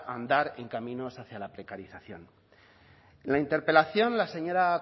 andar en caminos hacia la precarización en la interpelación la señora